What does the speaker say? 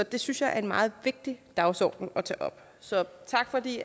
det synes jeg er en meget vigtig dagsorden at tage op så tak fordi